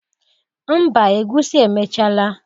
Mba egusi emechala